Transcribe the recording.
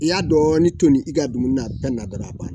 I y'a dɔɔnin toni i ka dumuni pɛn na dɔrɔn a banna